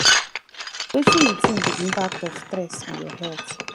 wetin you think be di impact of stress on your health